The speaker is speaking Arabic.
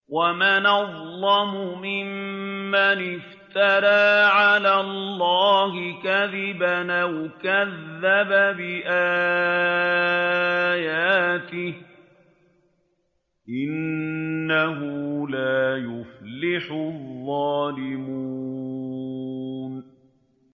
وَمَنْ أَظْلَمُ مِمَّنِ افْتَرَىٰ عَلَى اللَّهِ كَذِبًا أَوْ كَذَّبَ بِآيَاتِهِ ۗ إِنَّهُ لَا يُفْلِحُ الظَّالِمُونَ